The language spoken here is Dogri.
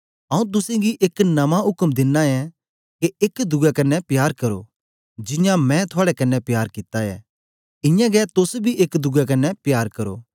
आऊँ तुसेंगी एक नमां उक्म दिना ऐं के एक दुए कन्ने प्यार करो जियां मैं थुआड़े कन्ने प्यार कित्ता ऐ इयां गै तोस बी एक दुए कन्ने प्यार करो